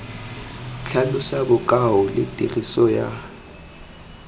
tlhalosa bokao le tiriso ya